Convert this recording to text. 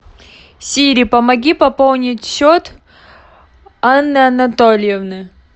сири помоги пополнить счет анны анатольевны